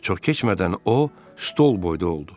Çox keçmədən o stol boyda oldu.